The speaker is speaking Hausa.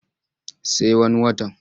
Sai wani watan.